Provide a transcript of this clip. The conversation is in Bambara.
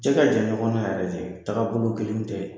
Cɛ ka jan ɲɔgɔn na yɛrɛ? tagabolo kelen tɛ.